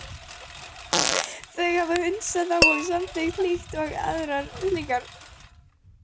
Þau hafa hunsað þá samþykkt líkt og aðrar slíkar.